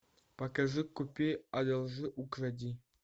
покажи купи одолжи укради